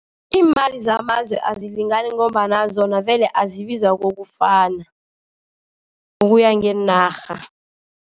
Imali zamazwe azilingani, ngombana zona vele azibizwa kokufana ngokuya ngeenarha.